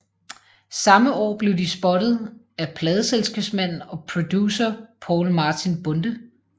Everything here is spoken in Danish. Samme år blev de spottet af pladeselskabsmanden og producer Poul Martin Bonde